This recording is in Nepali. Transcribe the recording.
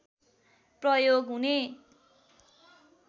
प्रयोग हुने